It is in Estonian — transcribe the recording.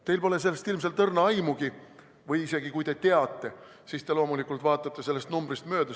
Teil pole sellest ilmselt õrna aimugi või isegi kui te teate, siis te loomulikult vaatate sellest numbrist mööda.